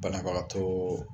Banabagatɔ